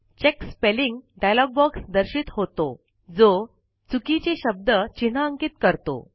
check spelling dialogue box दर्शित होतो जो चुकीचे शब्द चिन्हांकित करतो